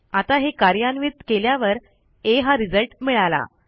आता हे कार्यान्वित केल्यावर आ हा रिझल्ट मिळाला